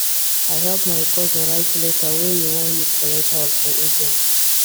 i help my cousin write letter wey e wan use collect house for agent